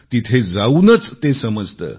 तिथे जाऊनच ते समजते